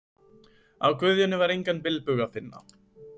Á Guðjóni var engan bilbug að finna.